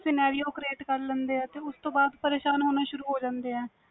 scenario create ਕਰ ਲੈਂਦੇ ਵ ਤੇ ਉਸਤੋਂ ਬਾਅਦ ਪਰੇਸ਼ਾਨ ਹੋਣਾ ਸ਼ੂਰੁ ਹੋ ਜਾਂਦੇ ਵ